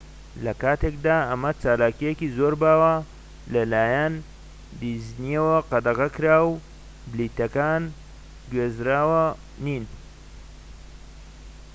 لە کاتێکدا ئەمە چالاکیەکی زۆر باوە لە لایەن دیزنیەوە قەدەغەکراوە پلیتەکان گوێزراوە نین